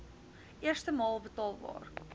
eerste maal betaalbaar